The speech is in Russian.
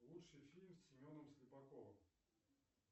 лучший фильм с семеном слепаковым